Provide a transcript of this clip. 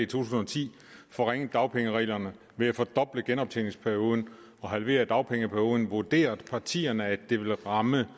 tusind og ti forringede dagpengereglerne ved at fordoble genoptjeningsperioden og halvere dagpengeperioden vurderede partierne at det ville ramme